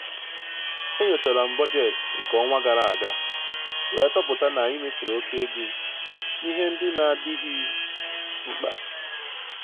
E nyochara m bọjetị nke ọnwa gara aga wee chọpụta n'anyị mefuru oke ego n'ihe ndị n'adịghị mkpa.